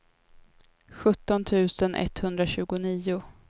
sjutton tusen etthundratjugonio